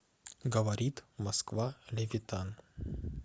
говорит москва левитан